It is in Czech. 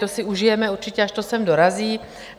To si užijeme určitě, až to sem dorazí.